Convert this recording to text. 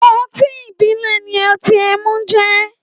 Ótin ibilẹ̀ ni ọtin ẹmu jẹ̀